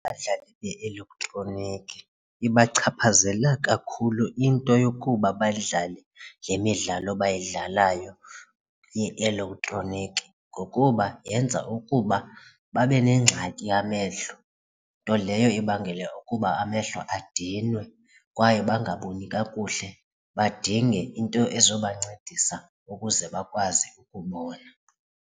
Abadlali be-elektroniki ibachaphazela kakhulu into yokuba badlale le midlalo bayidlalayo ye-elektroniki ngokuba yenza ukuba babe nengxaki yamehlo, nto leyo ibangele ukuba amehlo adinwe kwaye bangaboni kakuhle badinge into ezobancedisa ukuze bakwazi ukubona.